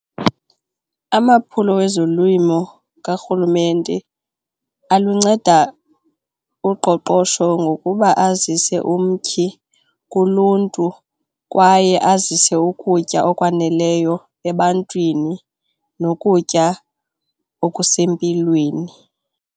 Amaphulo wezolimo karhulumente alunceda uqoqosho ngokuba azise umtyhi kuluntu kwaye azise ukutya okwaneleyo ebantwini nokutya okusempilweni.